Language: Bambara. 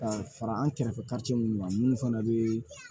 Ka fara an kɛrɛfɛ minnu kan minnu fana bɛ